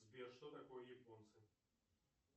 сбер что такое японцы